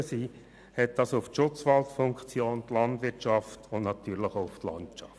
Auswirkungen hat dies auf die Schutzwaldfunktion, die Landwirtschaft und natürlich auch auf die Landschaft.